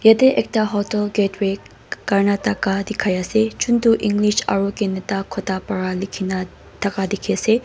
ete ekta hotel gate way karnataka dikhai ase juntu english aru canada kotha para likhi na thaka dikhi ase.